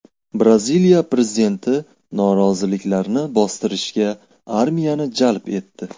Braziliya prezidenti noroziliklarni bostirishga armiyani jalb etdi.